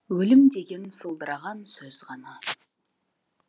өлім деген сылдыраған сөз ғана